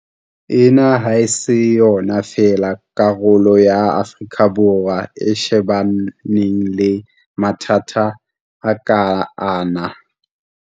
Ena ha se yona fela karolo ya Afrika Borwa e shebaneng le mathata a kang ana.